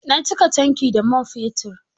Na cika tankin da man fetur.